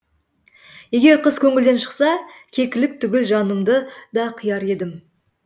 егер қыз көңілден шықса кекілік түгіл жанымды да қияр едім